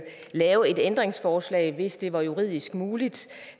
lave et ændringsforslag hvis det var juridisk muligt